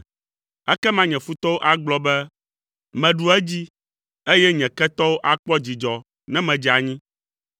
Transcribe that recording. Ekema nye futɔwo agblɔ be, “Meɖu edzi,” eye nye ketɔwo akpɔ dzidzɔ ne medze anyi.